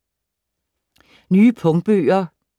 Nye punktbøger